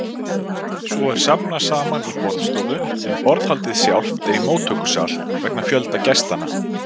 Svo er safnast saman í borðstofu, en borðhaldið sjálft er í móttökusal, vegna fjölda gestanna.